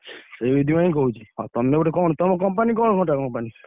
ସେଇଥିପାଇଁ କହୁଛି ଆଉ ତମେ ଗୋଟେ କଣ ତମ company କଣ ଘଣ୍ଟା company ।